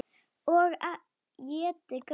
Og étið gras.